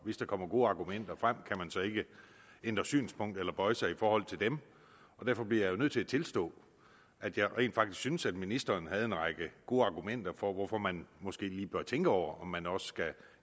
hvis der kommer gode argumenter frem kan man så ikke ændre synspunkt eller bøje sig i forhold til dem og derfor bliver jeg jo nødt til at tilstå at jeg rent faktisk synes at ministeren havde en række gode argumenter for hvorfor man måske lige bør tænke over om man også skal